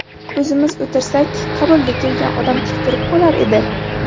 O‘zimiz o‘tirsak, qabulga kelgan odam tik turib qolar edi.